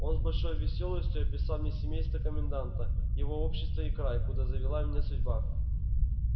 он с большой веселостию описал мне семейство коменданта его общество и край куда завела меня судьба